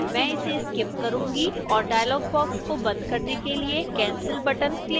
मैं इसे skip करूंगी और dialog box को बंद करने के लिए cancel button click करें